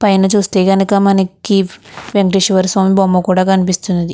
పైన చూస్తే గణక మనకి వెంకటేశ్వర స్వామి బొమ్మ కూడా కనిపిస్తుంది.